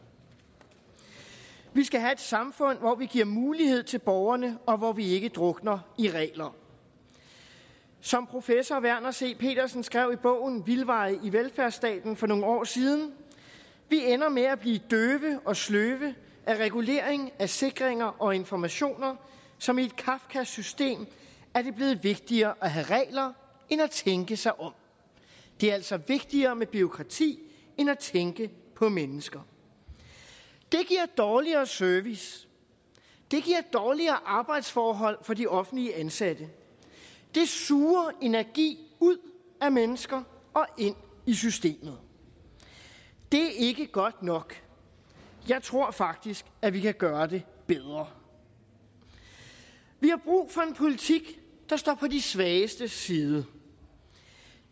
vi skal have et samfund hvor vi giver mulighed til borgerne og hvor vi ikke drukner i regler som professor verner c petersen skrev i bogen vildveje i velfærdsstaten for nogle år siden vi ender med at blive døve og sløve af regulering af sikringer og informationer som i et kafkask system er det blevet vigtigere at have regler end at tænke sig om det er altså vigtigere med bureaukrati end at tænke på mennesker det giver dårligere service det giver dårligere arbejdsforhold for de offentligt ansatte det suger energi ud af mennesker og ind i systemet det er ikke godt nok jeg tror faktisk at vi kan gøre det bedre vi har brug for en politik der står på de svagestes side